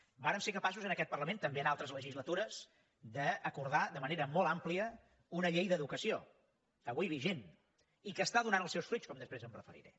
vàrem ser capaços en aquest parlament també en altres legislatures d’acordar de manera molt àmplia una llei d’educació avui vigent i que està donant els seus fruits com després m’hi referiré